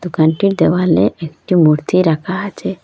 দোকানটির দেওয়ালে একটি মূর্তি রাকা আচে।